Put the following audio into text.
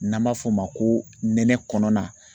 N'an b'a f'o ma ko nɛnɛ kɔnɔna